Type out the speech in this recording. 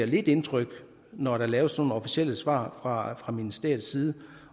lidt indtryk når der laves sådan nogle officielle svar fra fra ministeriets side